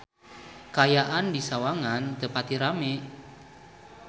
Kaayaan di Sawangan teu pati rame